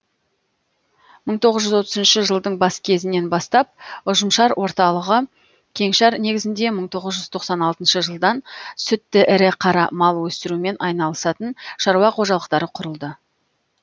мың тоғыз жүз отызыншы жылдың бас кезінен бастап ұжымшар орталығы кеңшар негізінде мың тоғыз жүз тоқсан алтыншы жылдан сүтті ірі қара мал өсірумен айналысатын шаруа қожалықтары құрылды